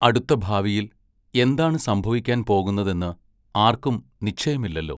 അടുത്ത ഭാവിയിൽ എന്താണ് സംഭവിക്കാൻ പോകുന്നതെന്ന് ആർക്കും നിശ്ചയമില്ലല്ലോ.